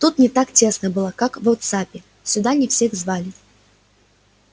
тут не так тесно было как в вотсаппе сюда не всех звали